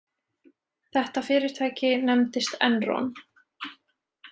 Þetta fyrirtæki nefndist Enron.